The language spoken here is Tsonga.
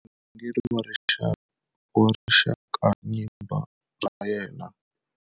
I murhangeri wa rixakanyimba ra yena.